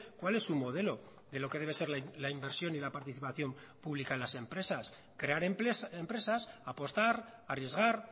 cuál es su modelo de lo que debe ser la inversión y la participación pública en las empresas crear empresas apostar arriesgar